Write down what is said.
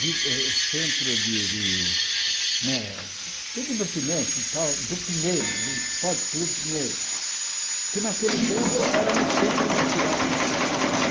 de eh centro de de como é de divertimento e tal, do Pinheiros, do Esporte Clube Pinheiros, que naquele tempo era no centro da cidade né.